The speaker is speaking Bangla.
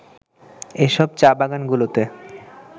এসব চা-বাগানগুলোতে